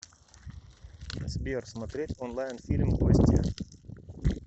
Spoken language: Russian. сбер смотреть онлайн фильм гостья